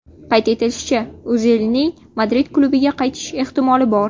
Qayd etilishicha, O‘zilning Madrid klubiga qaytish ehtimoli bor.